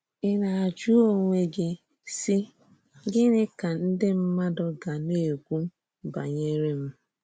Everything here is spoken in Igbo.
Ị̀ na-ajụ́ onwe gị sị: ‘Gịnị ka ndị mmádụ gà na-ekwù banyere m?’